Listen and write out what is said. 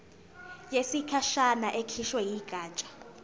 yesikhashana ekhishwe yigatsha